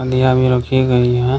बिहार में रखिये गई है।